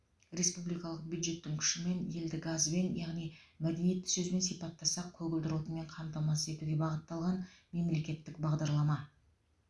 республикалық бюджеттің күшімен елді газбен яғни мәдениетті сөзбен сипаттасақ көгілдір отынмен қамтамасыз етуге бағытталған мемлекеттік бағдарлама